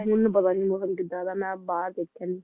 ਹੁਣ ਪਤਾ ਨਹੀਂ ਮੌਸਮ ਕਿੱਦਾਂ ਦਾ, ਮੈਂ ਬਾਹਰ ਦੇਖਿਆ ਹੀ ਨਹੀਂ